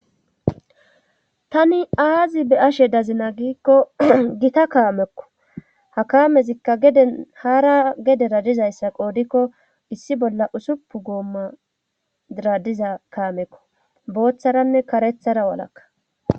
Tani aazi be ashe dazina giikko gita kaamekko ha kaamezikka de haara gedera dizayssa qoodikko issi bolla usuppu goomma diradiza kaamekko booththaranne karethara walakka.